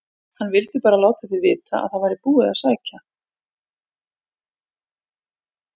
HANN VILDI BARA LÁTA ÞIG VITA AÐ ÞAÐ VÆRI BÚIÐ AÐ SÆKJA